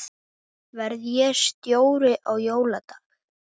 Verð ég stjóri á jóladag?